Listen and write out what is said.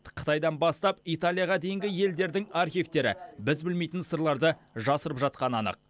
қытайдан бастап италияға дейінгі елдердің архивтері біз білмейтін сырларды жасырып жатқаны анық